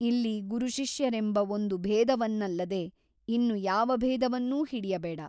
ಇಲ್ಲಿ ಗುರುಶಿಷ್ಯರೆಂಬ ಒಂದು ಭೇದವನ್ನಲ್ಲದೆ ಇನ್ನು ಯಾವ ಭೇದವನ್ನೂ ಹಿಡಿಯಬೇಡ.